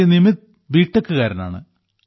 Shri Nimith B ടെക്കുകാരനാണ്